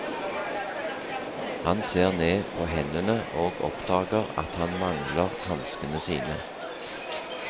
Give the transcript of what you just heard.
Han ser ned på hendene og oppdager at han mangler hanskene sine.